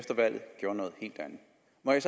jeg